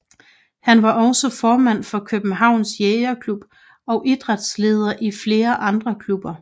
Han var også formand for Københavns Jægerklub og idrætsleder i flere andre klubber